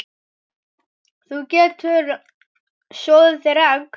Þú getur soðið þér egg